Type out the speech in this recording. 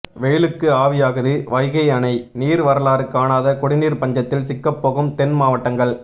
வெயிலுக்கு ஆவியாகுது வைகை அணை நீர் வரலாறு காணாத குடிநீர் பஞ்சத்தில் சிக்கப்போகும் தென் மாவட்டங்கள்